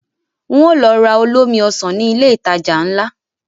Ń ó lọ ra olómi Ọsàn ní ilé ìtajà ńlá